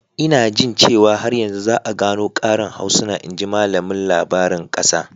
Ina jin cewa har yanzu za a gano ƙarin harsuna, in ji malamin labarin ƙasa.